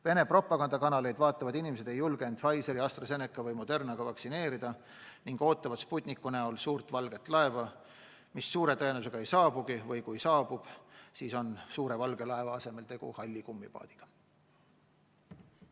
Vene propagandakanaleid vaatavad inimesed ei julgenud lasta end Pfizeri, AstraZeneca või Moderna vaktsiiniga vaktsineerida ning ootavad Sputniku näol suurt valget laeva, mis suure tõenäosusega ei saabugi või kui saabub, siis on suure valge laeva asemel tegu halli kummipaadiga.